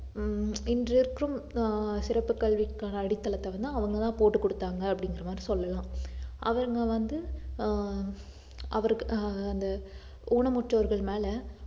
ஹம் இன்று இருக்கும் ஆஹ் சிறப்பு கல்விக்கான அடித்தளத்தை வந்து அவுங்கதான் போட்டு கொடுத்தாங்க அப்படிங்கிற மாதிரி சொல்லலாம் அவுங்க வந்து ஆஹ் அவருக்கு ஆஹ் அந்த ஊனமுற்றோர்கள் மேல